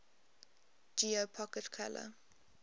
geo pocket color